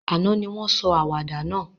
Àná ni won sọ àwàdà náà